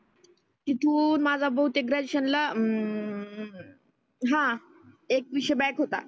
तीथुन माझा बहितेक ग्रॅड्युएशन ला अं हं एक विषय बॅक होता.